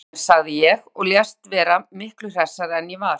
Ég bjarga mér, sagði ég og lést vera miklu hressari en ég var.